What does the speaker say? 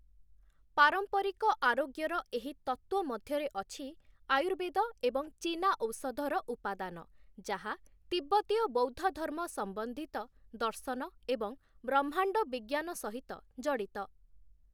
ପାରମ୍ପରିକ ଆରୋଗ୍ୟର, ଏହି ତତ୍ତ୍ଵ ମଧ୍ୟରେ ଅଛି ଆୟୁର୍ବେଦ ଏବଂ ଚୀନା ଔଷଧର ଉପାଦାନ, ଯାହା ତିବ୍ବତୀୟ ବୌଦ୍ଧଧର୍ମ ସମ୍ବନ୍ଧିତ ଦର୍ଶନ ଏବଂ ବ୍ରହ୍ମାଣ୍ଡ ବିଜ୍ଞାନ ସହିତ ଜଡ଼ିତ ।